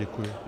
Děkuji.